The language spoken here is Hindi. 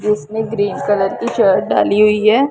उसने ग्रीन कलर की शर्ट डाली हुई है।